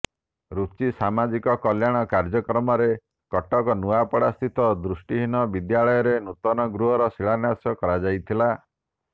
ରୁଚି ସାମାଜିକ କଲ୍ୟାଣ କାର୍ଯ୍ୟକ୍ରମରେ କଟକ ନୂଆପଡ଼ାସ୍ଥିତ ଦୃଷ୍ଟିହୀନ ବିଦ୍ୟାଳୟରେ ନୂତନ ଗୃହର ଶିଳାନ୍ୟାସ କରାଯାଇଥିଲା